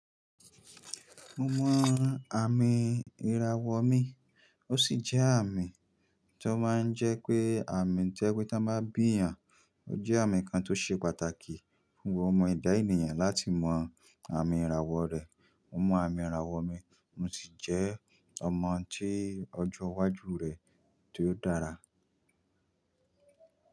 Mo mọ àmì ìràwọ̀ mi, ó sì jẹ́ àmì tó máa ń jẹ pé àmì tó pé tí wọ́n bá bí èèyàn. Ó jẹ́ àmì kan tó ṣe pàtàkì fún ọmọ ẹ̀dá ènìyàn láti mọ àmì ìràwọ̀ rẹ̀. Mo mọ àmì ìràwọ̀ mi, mo sì jẹ́ ọmọ tí ọjọ́ iwájú rẹ̀ tí ó dára.